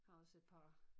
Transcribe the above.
Har også et par